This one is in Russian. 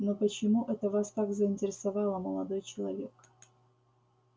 но почему это вас так заинтересовало молодой человек